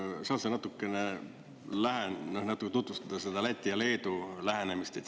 Saad sa natukene tutvustada seda Läti ja Leedu lähenemist?